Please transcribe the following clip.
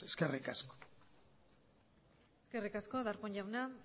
eskerrik asko eskerrik asko darpón jauna